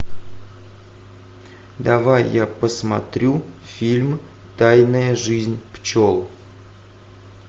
давай я посмотрю фильм тайная жизнь пчел